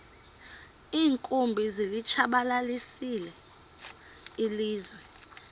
iinkumbi zilitshabalalisile ilizwe